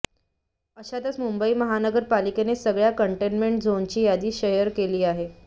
अशातच मुंबई महानगर पालिकेने सगळ्या कंटेनमेंट झोनची यादी शेअर केली आहे